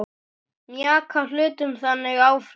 Mjaka hlutum þannig áfram.